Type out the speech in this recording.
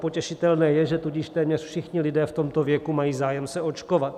Potěšitelné je, že tudíž téměř všichni lidé v tomto věku mají zájem se očkovat.